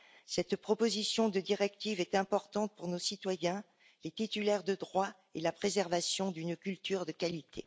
Cette proposition de directive est importante pour nos citoyens, les titulaires de droits et la préservation d'une culture de qualité.